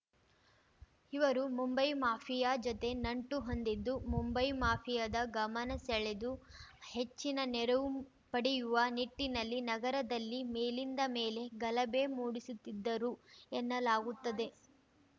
ಇವರು ಮುಂಬೈ ಮಾಫಿಯಾ ಜೊತೆ ನಂಟು ಹೊಂದಿದ್ದು ಮುಂಬೈ ಮಾಫಿಯಾದ ಗಮನ ಸೆಳೆದು ಹೆಚ್ಚಿನ ನೆರವು ಪಡೆಯುವ ನಿಟ್ಟಿನಲ್ಲಿ ನಗರದಲ್ಲಿ ಮೇಲಿಂದ ಮೇಲೆ ಗಲಭೆ ಮೂಡಿಸುತ್ತಿದ್ದರು ಎನ್ನಲಾಗುತ್ತಿದೆ